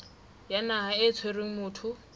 ya naha e tshwereng motho